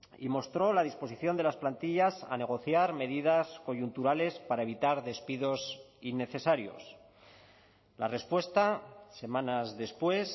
y mostró la disposición de las plantillas a negociar medidas coyunturales para evitar despidos innecesarios la respuesta semanas después